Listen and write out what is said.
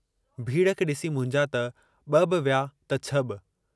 भीड़ खे ॾिसी मुंहिंजा त ब॒ बि विया त छ बि।